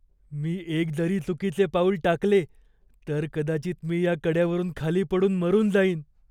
मी एक जरी चुकीचे पाऊल टाकले, तर कदाचित मी या कड्यावरून खाली पडून मरून जाईन.